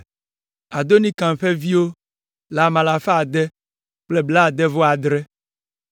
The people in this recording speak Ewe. Adonikam ƒe viwo le ame alafa ade kple blaade-vɔ-adre (667).